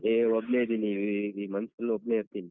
ಈ ಒಬ್ನೆ ಇದೀನಿ ಈಗ್ month full ಒಬ್ನೆ ಇರ್ತೀನಿ.